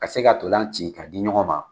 Ka se ka ntola ci ka di ɲɔgɔn ma.